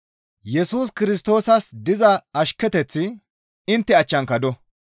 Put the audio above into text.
Yesus Kirstoosas diza ashketeththi intte achchanka do.